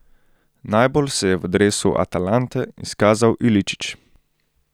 Najbolj se je v dresu Atalante izkazal Iličić.